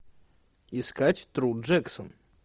искать тру джексон